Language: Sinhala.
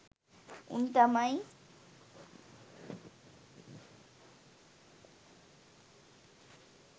උන් තමයි